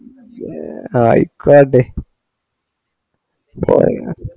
പോയോ അഹ് ഇക്കുയർടെ